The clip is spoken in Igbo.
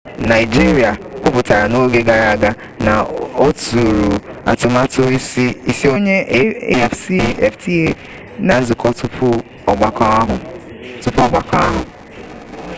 naịjiria kwuputara n'oge gara aga na ọtụrụ atụmatụ isonye afcfta n'izuka tupu ọgbakọ ahụ